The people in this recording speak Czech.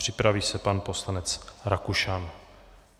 Připraví se pan poslanec Rakušan.